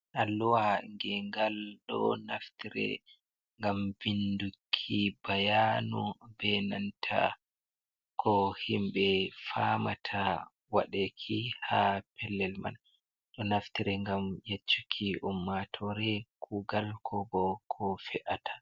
Alluwa gengal ɗo naftire ngam binduki bayanu be nanta ko himɓe famata waɗeki ha pellel man ɗo naftire ngam yeccuki ummatore kugal ko bo ko fe’ata.